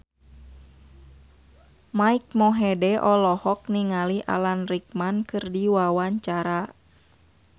Mike Mohede olohok ningali Alan Rickman keur diwawancara